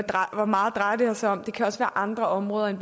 drejer sig om det kan også være andre områder end